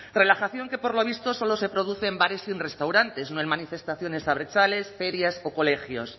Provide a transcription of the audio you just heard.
relajación que por lo visto solo se produce en bares y restaurantes no en manifestaciones abertzales ferias o colegios